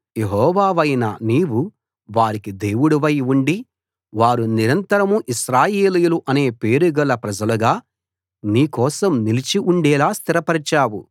యెహోవావైన నీవు వారికి దేవుడై ఉండి వారు నిరంతరం ఇశ్రాయేలీయులు అనే పేరుగల ప్రజలుగా నీ కోసం నిలిచి ఉండేలా స్థిరపరచావు